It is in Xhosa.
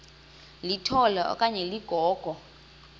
litola okanye ligogo